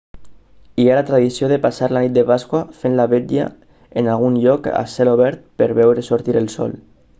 hi ha la tradició de passar la nit de pasqua fent la vetlla en algun lloc a cel obert per veure sortir el sol